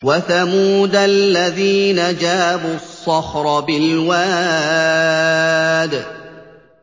وَثَمُودَ الَّذِينَ جَابُوا الصَّخْرَ بِالْوَادِ